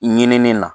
Ɲinini na